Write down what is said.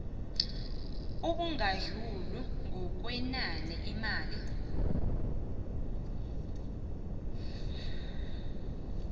obungadluli ngokwenani imali